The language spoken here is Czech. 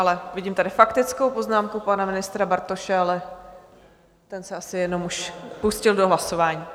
Ale vidím tady faktickou poznámku pana ministra Bartoše, ale ten se asi jenom už pustil do hlasování?